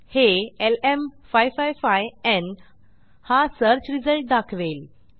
हे lm555न् हा सर्च रिझल्ट दाखवेल